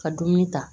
Ka dumuni ta